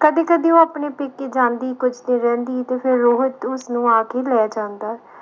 ਕਦੇ ਕਦੇ ਉਹ ਆਪਣੇ ਜਾਂਦੀ ਕੁਝ ਦਿਨ ਰਹਿੰਦੀ ਤੇ ਫਿਰ ਰੋਹਿਤ ਉਸਨੂੰ ਆ ਕੇ ਲੈ ਜਾਂਦਾ